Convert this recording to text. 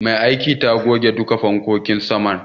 Mai aikin ta goge duka fankokin saman.